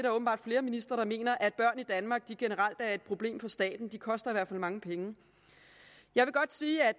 åbenbart flere ministre mener at børn i danmark generelt er et problem for staten at de koster mange penge jeg vil godt sige at